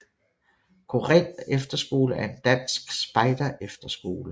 Korinth Efterskole er en dansk spejderefterskole